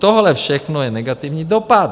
Tohle všechno je negativní dopad.